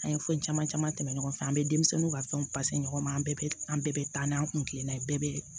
An ye fɛn caman caman tɛmɛ ɲɔgɔn fɛ an bɛ denmisɛnninw ka fɛnw ɲɔgɔn ma an bɛɛ bɛ an bɛɛ bɛ taa n'an kun kilena ye bɛɛ bɛ